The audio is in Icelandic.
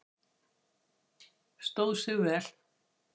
Stóð sig vel?